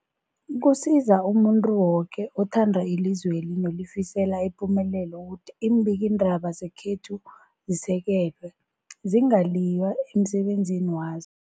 Kusiza umuntu woke othanda ilizweli nolifisela ipumelelo ukuthi iimbikiindaba zekhethu zisekelwe, zingaliywa emsebenzini wazo.